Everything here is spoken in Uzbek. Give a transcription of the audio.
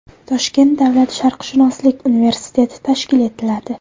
Toshkent davlat sharqshunoslik universiteti tashkil etiladi.